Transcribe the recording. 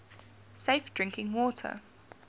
safe drinking water